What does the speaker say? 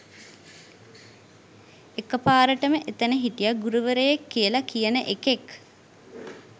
එක පාරටම එතන හිටිය ගුරුවරයෙක් කියලා කියන එකෙක්